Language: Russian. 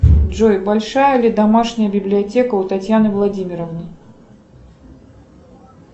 джой большая ли домашняя библиотека у татьяны владимировны